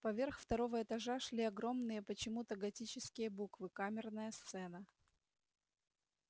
поверх второго этажа шли огромные почему-то готические буквы камерная сцена